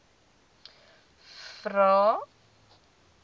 vvvvrae